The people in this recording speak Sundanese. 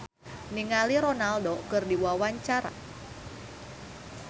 Regina Ivanova olohok ningali Ronaldo keur diwawancara